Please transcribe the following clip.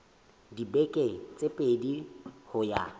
dibeke tse pedi ho ya